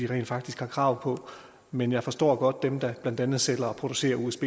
rent faktisk har krav på men jeg forstår godt at dem der blandt andet sælger og producerer usb